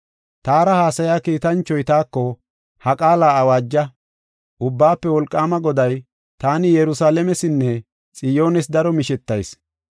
Taara haasaya kiitanchoy taako, “Ha qaala awaaja! Ubbaafe Wolqaama Goday, ‘Taani Yerusalaamesinne Xiyoones daro mishetayis.